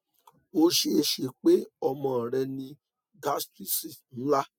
o ṣee ṣe pe ọmọ rẹ ni gastritis nla